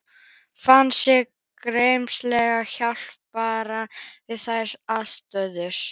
Fann sig gersamlega hjálparvana við þær aðstæður.